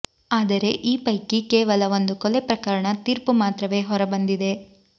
ಆದರೆ ಈಪೈಕಿ ಕೇವಲ ಒಂದು ಕೊಲೆ ಪ್ರಕರಣ ತೀರ್ಪು ಮಾತ್ರವೇ ಹೊರಬಂದಿದೆ